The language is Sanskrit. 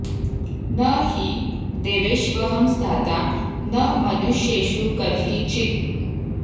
न हि देवेष्वहं स्थाता न मनुष्येषु कर्हि चित्